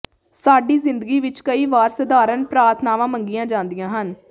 ਸਾਡੀ ਜ਼ਿੰਦਗੀ ਵਿਚ ਕਈ ਵਾਰ ਸਾਧਾਰਣ ਪ੍ਰਾਰਥਨਾਵਾਂ ਮੰਗੀਆਂ ਜਾਂਦੀਆਂ ਹਨ